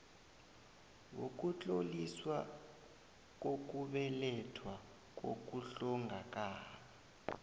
wokutloliswa kokubelethwa nokuhlongakala